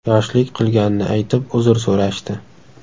yoshlik qilganini aytib, uzr so‘rashdi.